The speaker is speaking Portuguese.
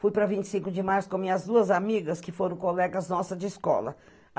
Fui parq vinte e cinco de março com minhas duas amigas, que foram colegas nossas de escola.